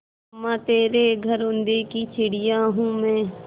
अम्मा तेरे घरौंदे की चिड़िया हूँ मैं